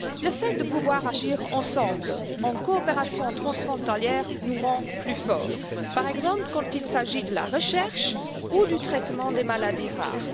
Le fait de pouvoir agir ensemble, en coopération transfrontalière, nous rend plus fort, par exemple, quand il s'agit de la recherche ou du traitement des maladies rares.